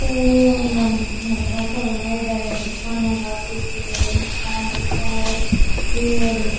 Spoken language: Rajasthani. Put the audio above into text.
टेंट या झोपड़ा सा बनाएडा है दुकाने लाग रखी है मकान दिख रा है पेड़ दिख --